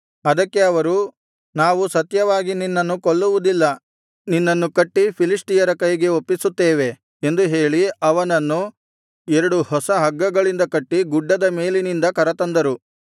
ಅದಕ್ಕೆ ಅವರು ನಾವು ಸತ್ಯವಾಗಿ ನಿನ್ನನ್ನು ಕೊಲ್ಲುವುದಿಲ್ಲ ನಿನ್ನನ್ನು ಕಟ್ಟಿ ಫಿಲಿಷ್ಟಿಯರ ಕೈಗೆ ಒಪ್ಪಿಸುತ್ತೇವೆ ಎಂದು ಹೇಳಿ ಅವನನ್ನು ಎರಡು ಹೊಸ ಹಗ್ಗಗಳಿಂದ ಕಟ್ಟಿ ಗುಡ್ಡದ ಮೇಲಿನಿಂದ ಕರತಂದರು